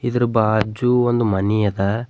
ಇದರ್ ಬಾಜು ಒಂದ್ ಮನಿ ಅದ.